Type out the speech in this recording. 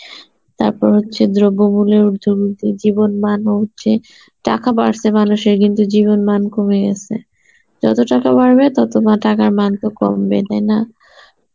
তারপর হচ্ছে দ্রব্যমূল্যের জন্য তো জীবন মানও হচ্ছে টাকা বাড়ছে মানুষের কিন্তু জীবনমান কমে গেছে, যত টাকা বাড়বে তত মা~ টাকার মানতো কমবেই তাই না?